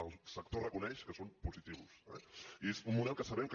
el sector reconeix que són positius eh i és un model que sabem que